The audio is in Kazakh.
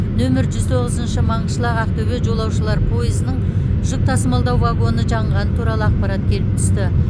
нөмір жүз тоғызыншы маңғышлақ ақтөбе жолаушылар пойызының жүк тасымалдау вагоны жанғаны туралы ақпарат келіп түсті